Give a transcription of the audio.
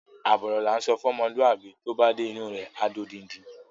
Àbọ̀ ọ̀rọ̀ la ńsọ fún ọmọlúwàbí, tó bá dé inú u rẹ̀, á di odindi.